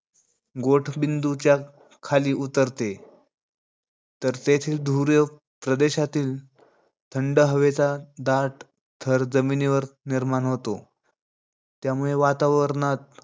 गोठणबिंदूच्या खाली उतरते. तर त्याचे ध्रुव प्रदेशातील थंड हवेचा दाट थर जमिनीवर निर्माण होतो. त्यामुळे वातावरणात,